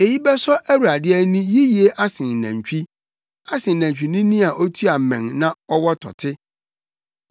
Eyi bɛsɔ Awurade ani yiye asen nantwi, asen nantwinini a otua mmɛn na ɔwɔ tɔte.